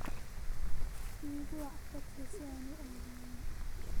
Igu wac tagsi si aan u aado meel